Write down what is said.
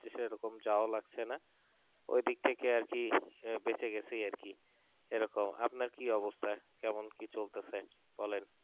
আর সেরকম যাওয়া লাগছেনা ওই দিক থেকে আর কি বেঁচে গেছে আর কি এরকম আপনার কি অবস্থা কেমন কি চলতেছে বলেন